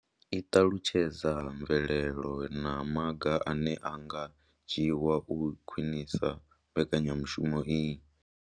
I ṱalutshedza mvelelo na maga ane a nga dzhiwa u khwinisa mbekanyamushumo iyi.